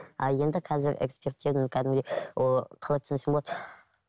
а енді қазір экспертизаны кәдімгідей қалай түсіндірсем болады